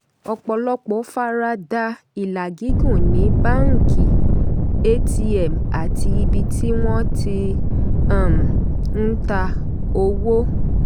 ọ̀pọ̀lọpọ̀ fara da ilà gígùn ní báńkì atm àti ibi tí wọ́n ti um ń ta owó.